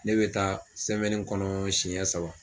Ne bɛ taa sɛmɛni kɔnɔ siyɛn saba.